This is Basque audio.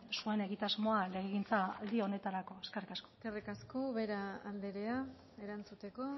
zuen egitasmoa legegintzaldi honetarako eskerrik asko eskerrik asko ubera andrea erantzuteko